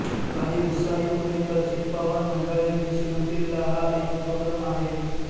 काही उत्साही पुणेकर चित्पावन मंडळींनी सुरू केलेला हा एक उपक्रम आहे